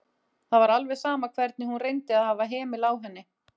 Það var alveg sama hvernig hún reyndi að hafa hemil á henni.